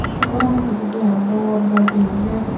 se gorano pijedi araw bor bor bilding age.